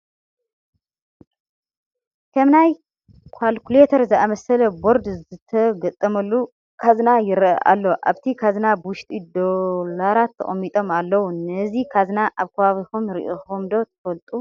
ከም ናይ ዃልኩሌተር ዝኣምስለ ቦርድ ዝተገጠመሉ ካዝና ይርአ ኣሎ፡፡ ኣብቲ ካዝና ውሽጢ ዶላራት ተቐሚጦም ኣለዉ፡፡ ነዚ ካዝና ኣብ ከባቢኹም ርኢኹምሞ ትፈልጡ ዶ?